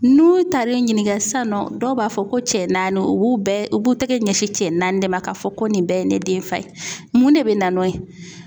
N'u taar'i ɲininga sisan nɔ dɔw b'a fɔ ko cɛ naani u b'u bɛɛ u b'u tɛgɛ ɲɛsin cɛ naani de ma k'a fɔ ko nin bɛɛ ye ne den fa ye. Mun de bɛ na n'o ye ?